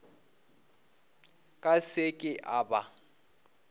ka se ke a ba